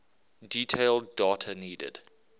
detailed data needed